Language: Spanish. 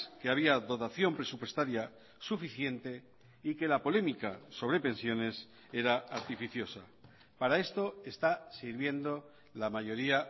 que había dotación presupuestaria suficiente y que la polémica sobre pensiones era artificiosa para esto está sirviendo la mayoría